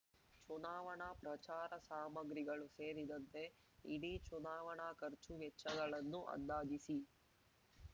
ಚುನಾವಣಾ ಪ್ರಚಾರ ಸಾಮಗ್ರಿಗಳು ಸೇರಿದಂತೆ ಇಡೀ ಚುನಾವಣಾ ಖರ್ಚು ವೆಚ್ಚಗಳನ್ನು ಅಂದಾಜಿಸಿ